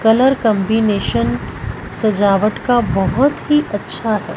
Colour combination सजावट का बहुत ही अच्छा है।